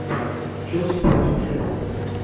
челси против шеффилда